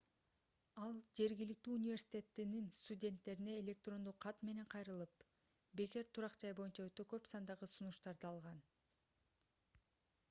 ал жергиликтүү университеттин студенттерине электрондук кат менен кайрылып бекер турак-жай боюнча өтө көп сандагы сунуштарды алган